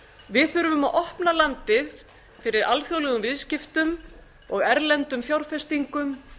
við þurfum að opna landið fyrir alþjóðlegum viðskiptum og erlendum fjárfestingum